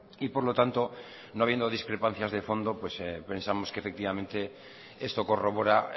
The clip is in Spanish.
y por lo tanto no habiendo discrepancias de fondo pensamos que efectivamente esto corrobora